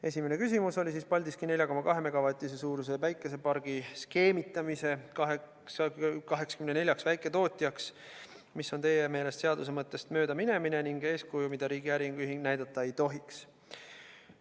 Esimene küsimus oli Paldiski 4,2 megavatise suuruse päikesepargiga skeemitamise ja 84 väiketootjaks jaotamise kohta, mis on teie meelest seaduse mõttest mööda minemine ning eeskuju, mida riigi äriühing näidata ei tohiks.